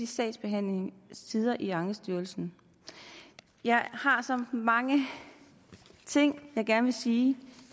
sagsbehandlingstiderne i ankestyrelsen jeg har så mange ting jeg gerne ville sige